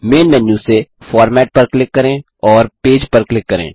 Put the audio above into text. man menu से format पर click करें और पेज पर क्लिक करें